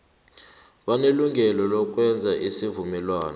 banelungelo lokwenza isivumelwano